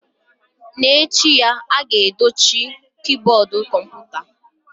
N'echi ya, a ga-edochi kiiboodu kọmputa.